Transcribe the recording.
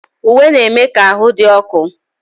Uwe na-eme ka ahụ dị ọkụ